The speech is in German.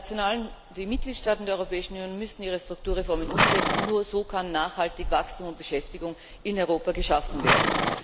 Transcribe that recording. Die Mitgliedstaaten der Europäischen Union müssen ihre Strukturreformen umsetzen. Nur so können nachhaltig Wachstum und Beschäftigung in Europa geschaffen werden.